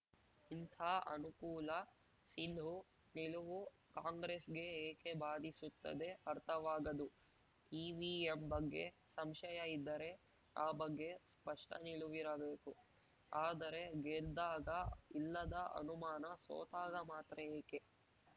ಇಂಥ ಅನುಕೂಲ ಸಿಂಧು ನಿಲುವು ಕಾಂಗ್ರೆಸ್‌ಗೆ ಏಕೆ ಬಾಧಿಸುತ್ತದೆ ಅರ್ಥವಾಗದು ಇವಿಎಂ ಬಗ್ಗೆ ಸಂಶಯ ಇದ್ದರೆ ಆ ಬಗ್ಗೆ ಸ್ಪಷ್ಟನಿಲುವಿರಬೇಕು ಆದರೆ ಗೆದ್ದಾಗ ಇಲ್ಲದ ಅನುಮಾನ ಸೋತಾಗ ಮಾತ್ರ ಏಕೆ